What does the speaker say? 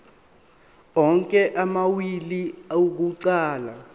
onke amawili akuqala